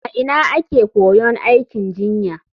A ina ake koyon aikin jinya?